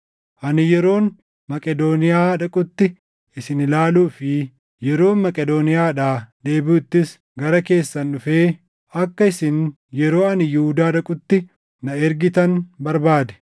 Ani yeroon Maqedooniyaa dhaqutti isin ilaaluu fi yeroon Maqedooniyaadhaa deebiʼuttis gara keessan dhufee, akka isin yeroo ani Yihuudaa dhaqutti na ergitan barbaade.